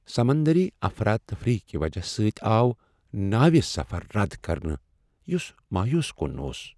سمندری افراتفری کہ وجہ سۭتۍ آو ناوِ سفر رد کرنہٕ، یس مایوس کن اوس۔